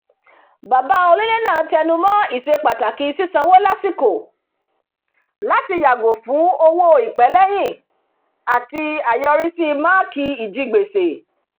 bàbá onílé náà tẹnumọ́ ìṣepàtàkì sísanwó lásìkò láti yàgò fún owó ìpẹ́lẹ́yìn àti àyọrísí máàkì ijigbèsè